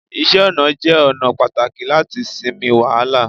iṣẹ ọnà jé ona pàtàkì lati sinmi wàhálà